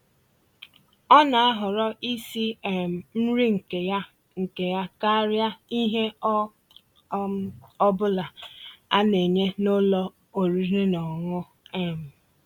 Ọ́ ná-àhọ̀rọ́ ísi um nrí nkè yá nkè yá kàríà íhè ọ́ um bụ́là á ná-ènyé n'ụ́lọ̀ ọ̀rị́rị́ ná ọ̀ṅụ̀ṅụ̀ um